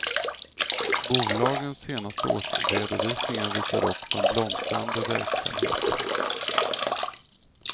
Bolagens senaste årsredovisningar visar dock på en blomstrande verksamhet.